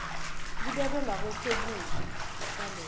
libekwe ngakwesokudla saleso